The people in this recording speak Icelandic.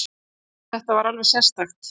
Þetta var alveg sérstakt.